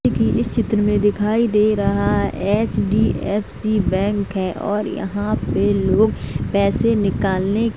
इस चित्र में दिखाई दे रहा एचडीएफसी बैंक है और यहाँ पे लोग पैसे निकलाने --